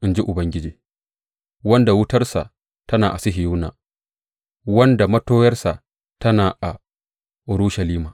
in ji Ubangiji, wanda wutarsa tana a Sihiyona, wanda matoyarsa tana a Urushalima.